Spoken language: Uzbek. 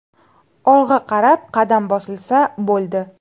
Olg‘a qarab qadam bosilsa bo‘ldi.